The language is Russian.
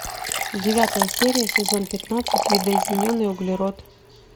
девятая серия сезон пятнадцать видоизмененный углерод